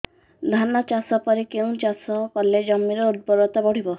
ଧାନ ଚାଷ ପରେ କେଉଁ ଚାଷ କଲେ ଜମିର ଉର୍ବରତା ବଢିବ